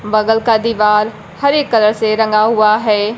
बगल का दीवाल हरे कलर से रंगा हुआ है।